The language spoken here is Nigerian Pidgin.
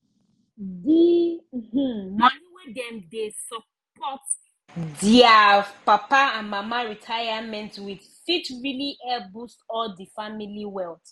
the um moni wey dem dey support their papa and mama retirement with fit really help boost all the family wealth